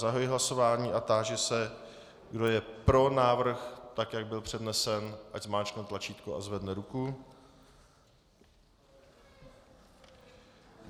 Zahajuji hlasování a táži se, kdo je pro návrh, tak jak byl přednesen, ať zmáčkne tlačítko a zvedne ruku.